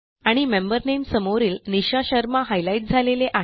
आणि मेंबर नामे समोरील निशा शर्मा हायलाईट झालेले आहे